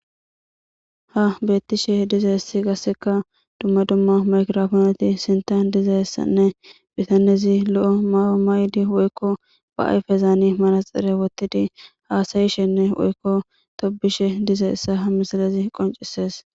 ha beettishe diza hessi gasseka dumma dumma makirofooneti sinta diza hessanne bitanezi lo'o ma7o maydi woykko ba ayfezaani maraxere wottidi haasayishenne woykko tobishe dize essa ha misalezi qoncisees